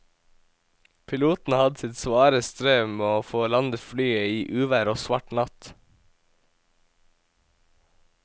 Piloten hadde sitt svare strev med å få landet flyet i uvær og svart natt.